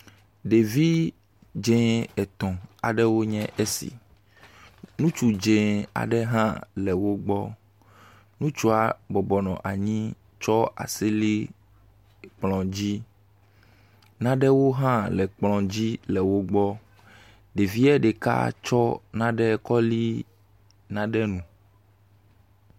Ɖevi dze etɔ̃ aɖwo nye esi. Ŋutsu dze aɖe hã le wo gbɔ. Ŋutsua bɔbɔnɔ anyi tsɔ asi li kplɔ dzi. Nanewo hã le kplɔ dzi le wo gbɔ. Ɖevia ɖeka tsɔ nane kɔ li nane ŋu.